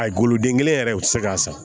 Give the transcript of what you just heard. A golodengɛ yɛrɛ u tɛ se k'a san